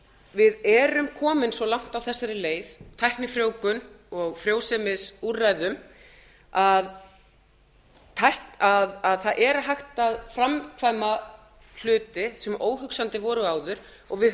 við erum komin svo langt á þessari leið tæknifrjóvgun og frjósemisúrræðum að það er hægt að framkvæma hluti sem óhugsandi voru áður og við